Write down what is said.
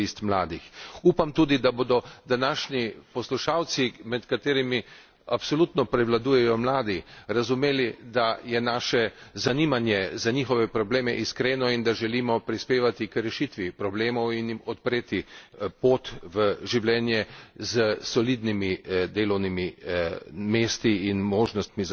Upam tudi, da bodo današnji poslušalci, med katerimi absolutno prevladujejo mladi, razumeli, da je naše zanimanje za njihove probleme iskreno in da želimo prispevati k rešitvi problemov in jim odpreti pot v življenje s solidnimi delovnimi mesti in možnostmi za zaposlovanje.